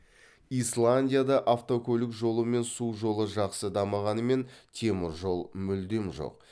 исландияда автокөлік жолы мен су жолы жақсы дамығанымен темір жол мүлдем жоқ